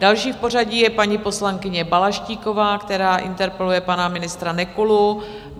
Další v pořadí je paní poslankyně Balaštíková, která interpeluje pana ministra Nekulu.